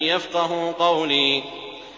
يَفْقَهُوا قَوْلِي